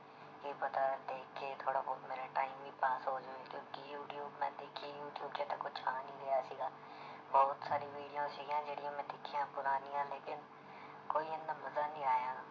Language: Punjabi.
ਕੀ ਪਤਾ ਦੇਖ ਕੇ ਥੋੜ੍ਹਾ ਬਹੁਤ ਮੇਰਾ time ਹੀ ਪਾਸ ਹੋ ਜਾਏ ਕਿਉਂਕਿ ਯੂਟਿਊਬ ਮੈਂ ਦੇਖੀ ਯੂਟਿਊਬ 'ਚ ਤਾਂ ਕੁਛ ਆ ਨੀ ਰਿਹਾ ਸੀਗਾ ਬਹੁਤ ਸਾਰੀ video ਸੀਗੀਆਂ ਜਿਹੜੀਆਂ ਮੈਂ ਦੇਖੀਆਂ ਪੁਰਾਣੀਆਂ ਲੇਕਿੰਨ ਕੋਈ ਇੰਨਾ ਮਜ਼ਾ ਨੀ ਆਇਆ,